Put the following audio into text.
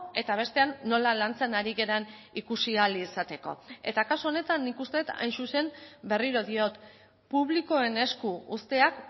eta bestean nola lantzen ari garen ikusi ahal izateko eta kasu honetan nik uste dut hain zuzen berriro diot publikoen esku uzteak